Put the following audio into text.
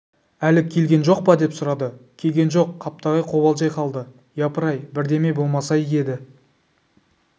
әлі келген жоқ па деп сұрады келген жоқ қаптағай қобалжи қалды япырай бірдеме болмаса игі еді